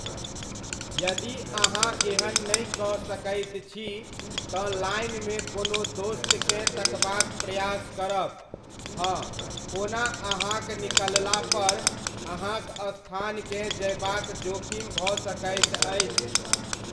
यदि अहाँ एहन नहि कऽ सकैत छी तँ लाइनमे कोनो दोस्तकेँ तकबाक प्रयास करब, हओना अहाँक निकललापर अहाँक स्थानकेँ जयबाक जोखिम भऽ सकैत अछि।